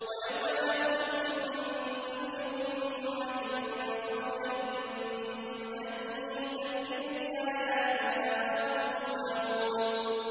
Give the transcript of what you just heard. وَيَوْمَ نَحْشُرُ مِن كُلِّ أُمَّةٍ فَوْجًا مِّمَّن يُكَذِّبُ بِآيَاتِنَا فَهُمْ يُوزَعُونَ